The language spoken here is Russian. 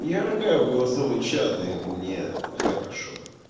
ирга в голосовой чат и мне хорошо